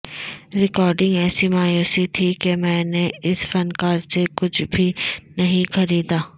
recording ایسی مایوسی تھی کہ میں نے اس فنکار سے کچھ بھی نہیں خریدا